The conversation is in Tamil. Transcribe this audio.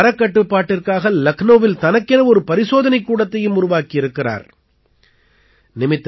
தரக் கட்டுப்பாட்டிற்காக லக்னௌவில் தனக்கென ஒரு பரிசோதனைக் கூடத்தையும் உருவாக்கி இருக்கிறார்